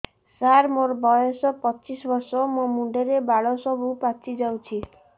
ସାର ମୋର ବୟସ ପଚିଶି ବର୍ଷ ମୋ ମୁଣ୍ଡରେ ବାଳ ସବୁ ପାଚି ଯାଉଛି